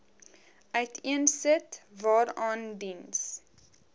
uiteensit waaraan diens